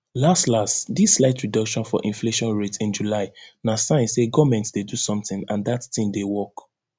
las las dis slight reduction for inflation rate in july na sign say goment dey do something and dat tin dey work